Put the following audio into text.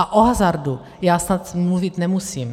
A o hazardu já snad mluvit nemusím.